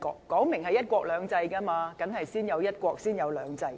既然是"一國兩制"，當然是先有"一國"才有"兩制"。